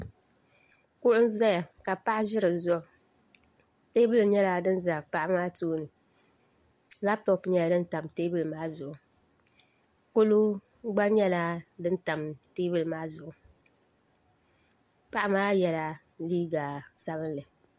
Kuɣu ʒɛya ka paɣa ʒi di zuɣu teebuli nyɛla din ʒɛ paɣa maa tooni labtop nyɛla din tam teebuli maa zuɣu kolo gba nyɛla din tam teebuli maa zuɣu paɣamaa yɛla liiga sabinli